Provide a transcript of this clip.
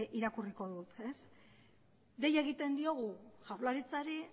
irakurriko dut dei egiten diogu jaurlaritzari